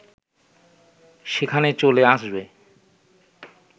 সেখানে চলে আসবে